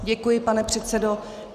Děkuji, pane předsedo.